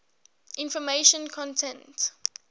information content